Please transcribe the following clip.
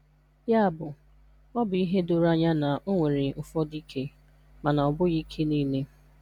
Ya bụ, ọ bụ ihe doro anya na o nwere ụfọdụ ike, mana ọ bụghị ike niile.